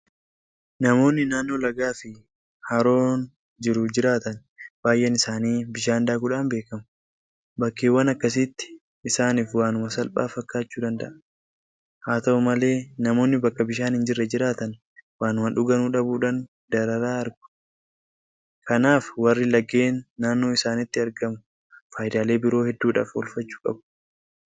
Namoonni naannoo lagaafi haroon jiru jiraatan baay'een isaanii bishaan daakuudhaan beekamu. Bakkeewwan akkasiitti isaaniif waanuma salphaa fakkaachuu danda'a. Haata'u malee namoonni bakka bishaan hinjirre jiraatan waanuma dhuganuu dhabuudhaan dararaa argu. Kanaaf warri laggeen naannoo isaaniittu argamu faayidaalee biroo hedduudhaaf oolfachuu qabu.